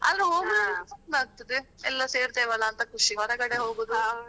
ಆದ್ರೆ ಹೋಗೂದಾದ್ರೆ ಚಂದ ಆಗ್ತಾದೆ ಎಲ್ಲರ್ ಸೇರ್ತೆವೆ ಅಂತ ಖುಷಿ ಹೊರಗಡೆ ಹೋಗುದು.